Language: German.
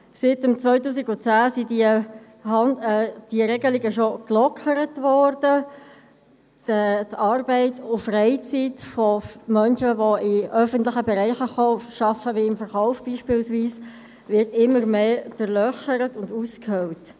Diese Regelungen wurden bereits seit 2010 gelockert – die Arbeits- und Freizeit von Menschen, die in öffentlichen Bereichen wie dem Verkauf arbeiten, werden immer mehr durchlöchert und ausgehöhlt.